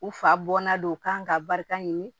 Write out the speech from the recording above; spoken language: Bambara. U fa bɔnna don kan ka barika ɲini